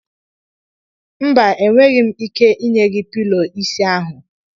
mba, enweghị m ike ị nye gi pilọ isi ahụ.